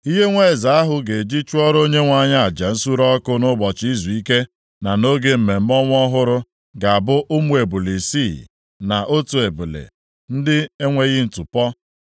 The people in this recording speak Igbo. Ihe nwa eze ahụ ga-eji chụọrọ Onyenwe anyị aja nsure ọkụ nʼụbọchị izuike na nʼoge mmemme ọnwa ọhụrụ ga-abụ ụmụ ebule isii, na otu ebule, ndị na-enweghị ntụpọ.